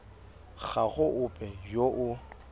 ga go ope yo o